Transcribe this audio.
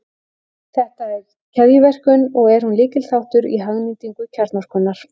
Þetta er keðjuverkun, og er hún lykilþáttur í hagnýtingu kjarnorkunnar.